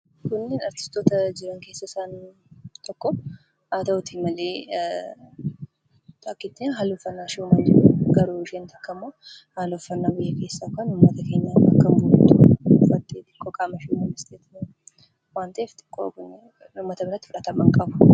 Kun artistoota jiran keessaa isaan tokko. Haa ta'uutii malee haalli uffannaa isaanii garaagara. Isheen tokko haala kan alaa yoo ta'u ishee tokko immoo kan biyya keessaa bakka kan buutu waan ta'eef uummata biratti fudhatama hin qabu.